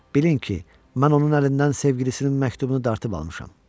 Bilin ki, mən onun əlindən sevgilisinin məktubunu dartıb almışam.